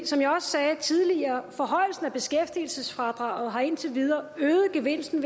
som jeg også sagde tidligere så forhøjelsen af beskæftigelsesfradraget indtil videre øget gevinsten